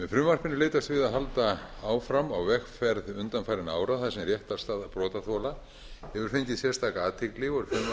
frumvarpinu er leitast við að halda áfram á vegferð undanfarinna ára þar sem réttarstaða brotaþola hefur fengið sérstaka athygli og frumvarpinu þannig ætlað